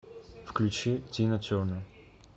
включи тина тернер